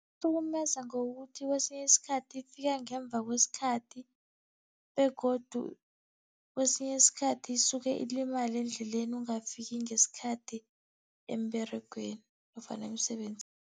Ihlukumeza ngokuthi kesinye isikhathi ifika ngemva kwesikhathi begodu kesinye isikhathi isuke ilimale endleleni ungafiki ngesikhathi emberegweni nofana emsebenzini.